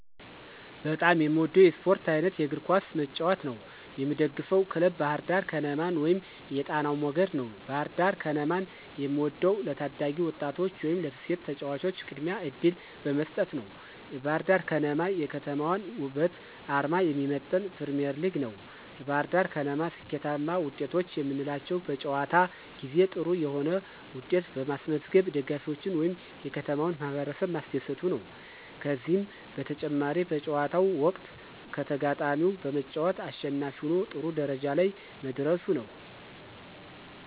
በጣም የምወደው የስፖርት አይነት የእግር ኳስ መጫወት ነው። የምደግፈው ክለብ ባህርዳር ከነማን ወይም የጣናው መገድ ነው። ባህርዳር ከነማን የምወደው ለታዳጊ ወጣቶች ወይም ለሴቶች ተጫዋቾች ቅድሚያ እድል በመስጠት ነዉ። የባህርዳር ከነማ የከተማዋን ወበትና አርማ የሚመጥን ፕሪሚዬርሊግ ነው። የባህርዳር ከነማ ስኬታማ ወጤቶች የምንላቸው በጨዋታ ጊዜ ጥሩ የሆነ ዉጤት በማስመዝገብ ደጋፊዎችን ወይም የከተማውን ማህበረሰብ ማስደሰቱ ነዉ። ከዚህም በተጨማሪ በጨዋታው ወቅት ከተጋጣሚው በመጫወት አሸናፊ ሁኖ ጥሩ ደረጃ ላይ መድረሱ ነው።